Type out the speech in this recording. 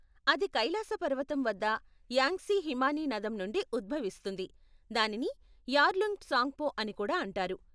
అది కైలాస పర్వతం వద్ద యాంగ్సీ హిమానీనదం నుండి ఉద్భవిస్తుంది, దానిని యార్లుంగ్ ట్సాంగ్పో అని కూడా అంటారు.